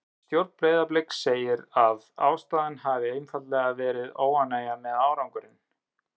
Stjórn Breiðabliks segir að ástæðan hafi einfaldlega verið óánægja með árangurinn.